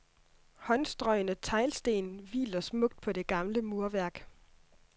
Håndstrøgne teglsten hviler smukt på det gamle murværk.